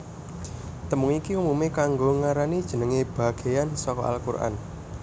Tembung iki umumé kanggo ngarani jenengé bagéyan saka al Qur an